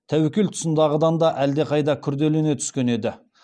тәуекел тұсындағыдан әлдеқайда күрделене түскен еді